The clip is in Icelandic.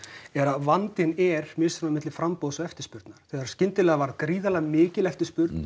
vandinn er á milli framboðs og eftirspurnar skyndilega varð gríðarlega mikil eftirspurn